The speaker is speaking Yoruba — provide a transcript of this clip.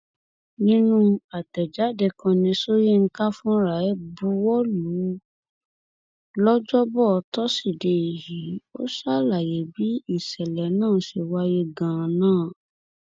nínú àtẹjáde kan tí sọyìnkà fúnra rẹ buwọ lu lọjọbọ tosidee yìí ó ṣàlàyé bí ìṣẹlẹ náà ṣe wáyé ganan